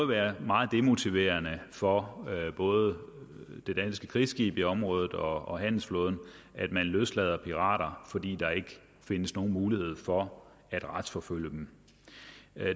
være meget demotiverende for både det danske krigsskib i området og handelsflåden at man løslader pirater fordi der ikke findes nogen mulighed for at retsforfølge dem